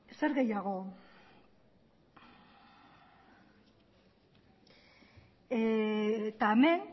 zer gehiago eta hemen